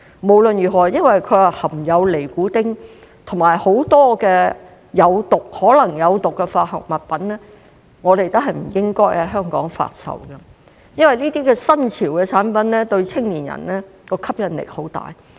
無論如何，因為它含有尼古丁及很多可能有毒的化學物品，我們都不應在香港發售，因為這些新潮的產品對青年人的吸引力很大。